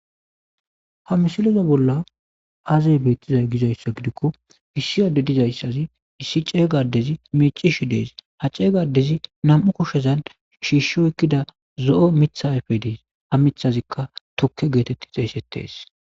ha misileza bolla aazey bettizay gizayssa gidikko issi adde dizayssazi issi ceeygadezi mecishi dees ha ceeygadezi nam7u kushezan shiishsho ekkida zo7o mithayfe dees ha mithazikka tukke geetetti xeesettes